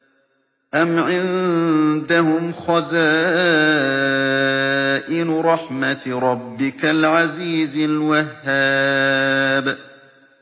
أَمْ عِندَهُمْ خَزَائِنُ رَحْمَةِ رَبِّكَ الْعَزِيزِ الْوَهَّابِ